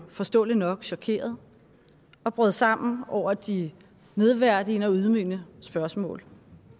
forståeligt nok chokeret og brød sammen over de nedværdigende og ydmygende spørgsmål